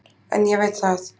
En ég veit það